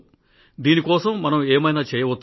దీని కోసం మనం ఏమైనా చేయవచ్చా